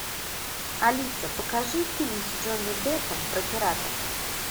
алиса покажи фильм с джонни деппом про пиратов